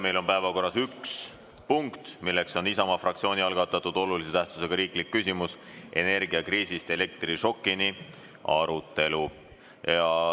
Meil on päevakorras üks punkt, milleks on Isamaa fraktsiooni algatatud olulise tähtsusega riikliku küsimuse "Energiakriisist elektrišokini" arutelu.